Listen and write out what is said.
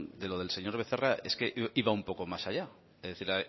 de lo del señor becerra iba un poco más allá es decir